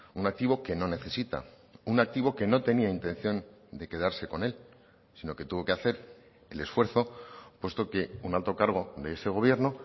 un activo que no necesita un activo que no tenía intención de quedarse con él sino que tuvo que hacer el esfuerzo puesto que un alto cargo de ese gobierno